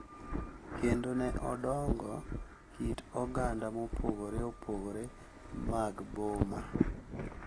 Kendo ne odongo kit oganda mopogore opogore mag boma,